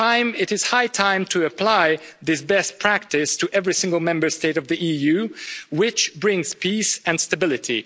It is high time to apply this best practice to every single Member State of the EU, which brings peace and stability.